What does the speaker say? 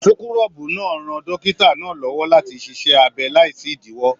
Súkúrọbuù náà ràn dókítà náà l'ọwọ láti ṣiṣẹ abẹ láì sí idiwọ.